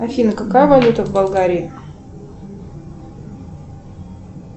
афина какая валюта в болгарии